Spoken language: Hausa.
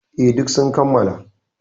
E, duk sun kammala.